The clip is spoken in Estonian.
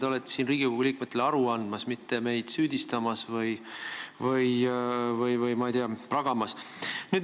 Te olete siin Riigikogu liikmetele aru andmas, mitte meid süüdistamas või, ma ei tea, meiega pragamas.